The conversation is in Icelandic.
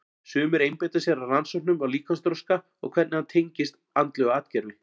Sumir einbeita sér að rannsóknum á líkamsþroska og hvernig hann tengist andlegu atgervi.